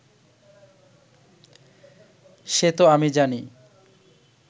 সে তো আমি জানি